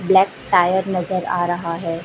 Black tyre नजर आ रहा है।